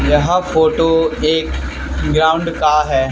यह फोटो एक ग्राउंड का है।